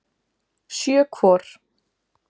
Sjö hvor.